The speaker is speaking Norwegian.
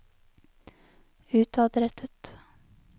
utadrettet